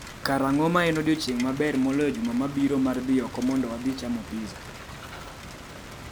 Ang’o ma en odiechieng’ maber moloyo juma mabiro mar dhi oko mondo wadhi chamo pizza?